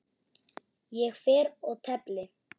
Ég fer og tefli!